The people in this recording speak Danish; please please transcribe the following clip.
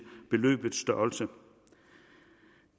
beløbets størrelse